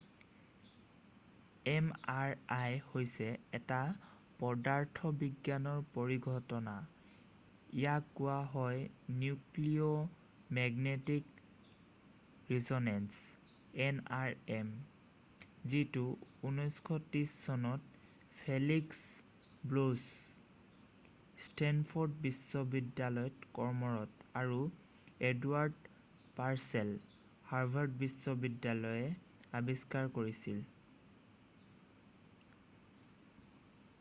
mri হৈছে এটা পদাৰ্থবিজ্ঞানৰ পৰিঘটনা ইয়াক কোৱা হয় নিউক্লিয়েৰ মেগনেটিক ৰিছ'নেঞ্চ nrm যিটো 1930 চনত ফেলিক্স ব্লছ ষ্টেণ্ডফ'ৰ্ড বিশ্ববিদ্যালয়ত কৰ্মৰত আৰু এডৱাৰ্ড পাৰ্ছেল হাৰ্ভাৰ্ড বিশ্ববিদ্যালয়ৰএ আৱিষ্কাৰ কৰিছিল।